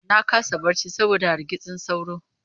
Na kasa barci saboda hargitsin sauro.